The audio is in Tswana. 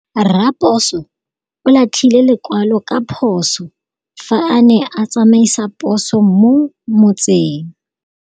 Raposo o latlhie lekwalô ka phosô fa a ne a tsamaisa poso mo motseng.